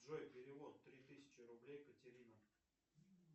джой перевод три тысячи рублей катерина